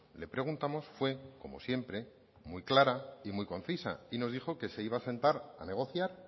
le preguntamos fue como siempre muy clara y muy concisa nos dijo que se iba a sentar a negociar